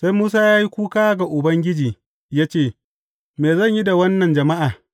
Sai Musa ya yi kuka ga Ubangiji ya ce, Me zan yi da wannan jama’a?